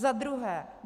Za druhé.